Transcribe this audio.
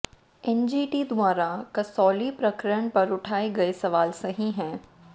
NGT द्वारा कसौली प्रकरण पर उठाए गए सवाल सही हैं